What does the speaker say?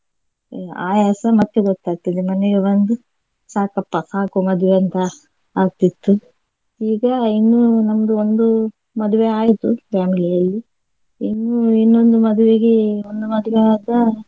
ಆಯಾಸ ಮತ್ತೆ ಗೊತ್ತಾಗ್ತದೆ ಮನೆಗೆ ಬಂದು ಸಾಕಪ್ಪ ಸಾಕು ಮದುವೆ ಅಂತ ಆಗ್ತಿತ್ತು ಈಗ ಇನ್ನು ನಮ್ದು ಒಂದು ಮದುವೆ ಆಯ್ತು family ಅಲ್ಲಿ ಇನ್ನು ಇನ್ನೊಂದು ಮದ್ವೆಗೆ ಒಂದು ಮದ್ವೆಯಾದ.